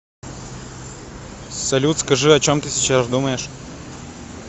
салют скажи о чем ты сейчас думаешь